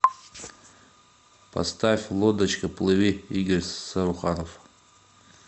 поставь лодочка плыви игорь саруханов